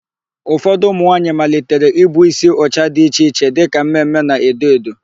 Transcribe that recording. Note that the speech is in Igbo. Ụfọdụ ụmụnwaanyị malitere ibu ísí ụcha dị iche iche dịka mme mme na edo edo.